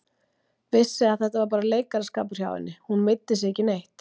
Vissi að þetta var bara leikaraskapur hjá henni, hún meiddi sig ekki neitt.